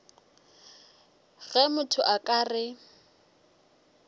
ge motho a ka re